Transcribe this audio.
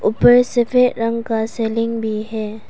ऊपर सफेद रंग के सीलिंग भी हैं।